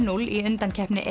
núll í undankeppni